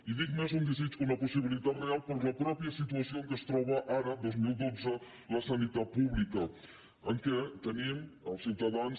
i dic més un desig que una possi·bilitat real per la mateixa situació en què es troba ara el dos mil dotze la sanitat pública que tenim els ciutadans